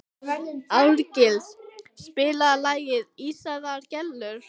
Árgils, spilaðu lagið „Ísaðar Gellur“.